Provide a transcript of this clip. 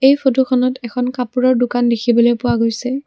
এই ফটোখনত এখন কাপোৰৰ দোকান দেখিবলৈ পোৱা গৈছে।